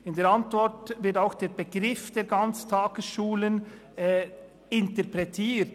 In der Antwort wird auch der Begriff der Ganztagesschulen interpretiert.